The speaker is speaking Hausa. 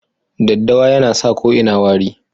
Daddawa yana sa ko ina wari.